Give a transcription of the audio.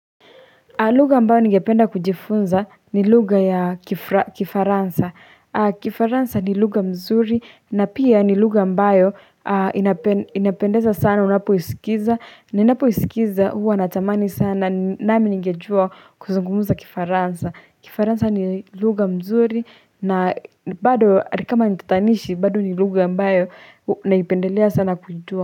Lugha mbayo ningependa kujifunza ni lugha ya kifaransa Kifaransa ni lugha mzuri na pia ni lugha mbayo inapendeza sana unapo isikiza Ninapo isikiza huwa natamani sana nami ningejua kuzungumuza kifaransa Kifaransa ni luga mzuri na bado atakama nitatanishi bado ni lugha mbayo naipendelea sana kujua.